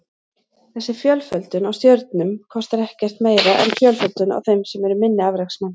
Þessi fjölföldun á stjörnum kostar ekkert meira en fjölföldun á þeim sem eru minni afreksmenn.